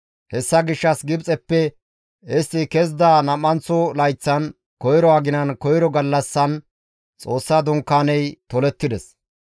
Hessa gishshas Gibxeppe istti kezida nam7anththo layththan, koyro aginan koyro gallassan Xoossa Dunkaaney tolettides.